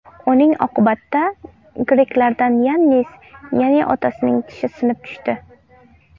Uning oqibatida greklardan Yannis Yanniotasning tishi sinib tushdi.